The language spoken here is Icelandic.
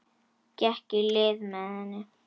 Gekk í lið með henni.